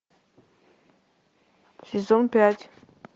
сезон пять